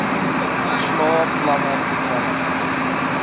verslae planne programme